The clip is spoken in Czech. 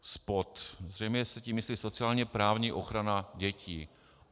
Zřejmě se tím myslí sociálně-právní ochrana dětí.